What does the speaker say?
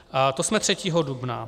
To jsme 3. dubna.